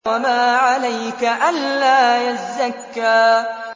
وَمَا عَلَيْكَ أَلَّا يَزَّكَّىٰ